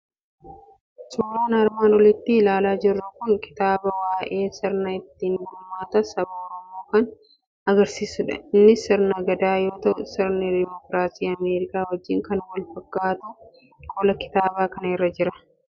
Suuraan armaan olitti ilaalaa jirru kun kitaaba waa'ee sirna ittiin bulmaata saba Oromoo kan agarsiisudha. Innis sirna Gadaa yoo ta'u, sirna Dimookiraasii Ameerikaa wajjin akka wal fakkaatu qola kitaaba kanaa irra jira.